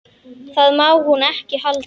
Það má hún ekki halda.